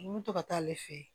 N bɛ to ka taa ale fɛ yen